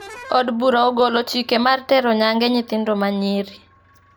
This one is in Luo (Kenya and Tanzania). Od bura ogolo chike mar tero nyange nyithindo ma nyiri